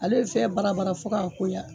Ale be fɛn barabara fo k'a koya